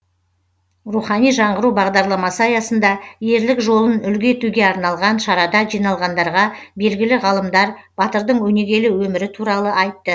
рухани жаңғыру бағдарламасы аясында ерлік жолын үлгі етуге арналған шарада жиналғандарға белгілі ғалымдар батырдың өнегелі өмірі туралы айтты